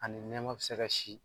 Ani nɛma bi se kɛ si.